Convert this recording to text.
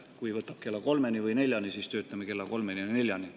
Kui võtab aega kella kolmeni või neljani, siis töötame kella kolmeni või neljani.